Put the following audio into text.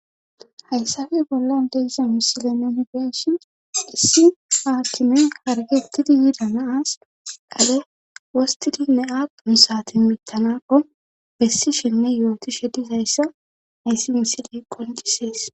Hayssafe bolla deiza misile nuni beeshin issi haakime hargettidi yida naas dhale wostidinne aadqun sati mittanako bessi shenne yooti shedizayssa ayssi misiley qoncisees.